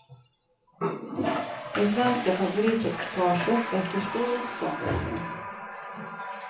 Det svenska favoritekipaget väcker stor uppståndelse.